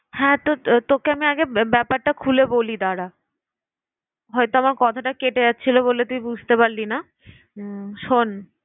হ্যাঁ তো তোকে আমি আগে ব্যা~ব্যাপারটা খুলে বলি দাঁড়া। হয়তো আমার কথাটা কেটে যাচ্ছিল বলে তুই বুঝতে পারলি না আহ শোন।